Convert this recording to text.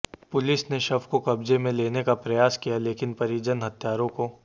police ने शव को कब्जे में लेने का प्रयास किया लेकिन परिजन हत्यारों को